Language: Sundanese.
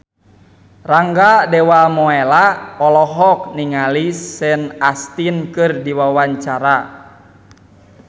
Rangga Dewamoela olohok ningali Sean Astin keur diwawancara